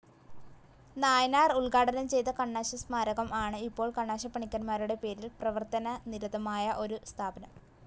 നായനാർ ഉത്ഘാടനം ചെയ്ത കണ്ണാശസ്മാരകം ആണ് ഇപ്പോൾ കണ്ണാശപ്പണിക്കന്മാരുടെ പേരിൽ പ്രവർത്തനനിരതമായ ഒരു സ്ഥാപനം.